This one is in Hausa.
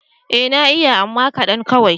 Ee na iya amma kaɗan kawai.